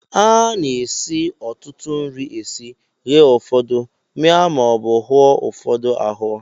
A na-esi ọtụtụ nri esi, ghee ụfọdụ, mịa maọbụ hụọ ụfọdụ ahụọ